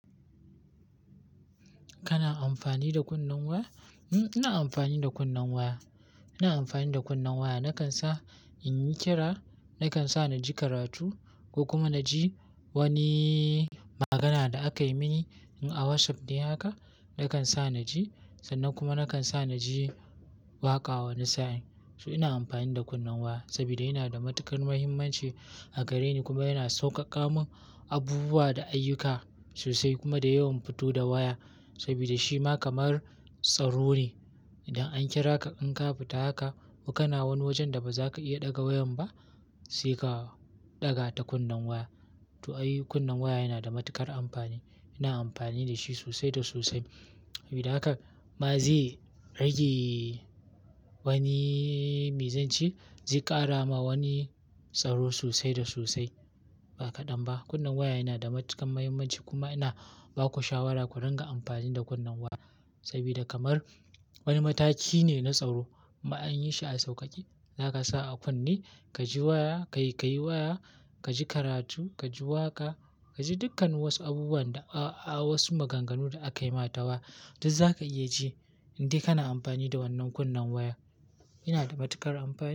Kana amfani da kunnen waya? Ina amfani da kunnen waya. Ina amfani da kunnen waya. Nakan sa in yi kira, nakan sa na ji karatu ko kuma na ji wani magana da aka yi mini in a WhatsApp ne haka, nakan sa na ji sannan kuma nakan sa na ji waƙa wani sa'in. So ina amfani da kunnen waya saboda yana da matukar muhimmanci a gare ni kuma yana sauƙaƙa mun abubuwa da ayyuka sosai. Kuma da yawan fito da waya saboda shi ma kamar tsaro ne. Idan an kira ka an ka fita haka ko kana wani wajen da ba za ka iya ɗaga wayan ba sai ka ɗaga ta kunnen waya. To ai, kunnen waya yana da matuƙar amfani. Ina amfani da shi sosai da sosai. Sabida haka ba zai rage wani mizanci, zai ƙara ma wani tsaro sosai da sosai. Ba kaɗan ba, kunnen waya yana da matuƙar muhimmanci kuma ina ba ku shawara ku ringa amfani da kunnen waya saboda kamar wani mataki ne na tsaro. Kuma an yi shi a sauƙaƙe, zaka sa a kunne, ka ji waya, ka yi waya, ka ji karatu, ka ji waƙa, ka ji dukkan wasu abubuwan da-- wasu maganganu da aka yi ma ta waya duk za ka iya ji in dai kana amfani da wannan kunnen waya. Yana da matuƙar amfani.